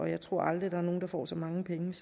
jeg tror aldrig der er nogen der får så mange penge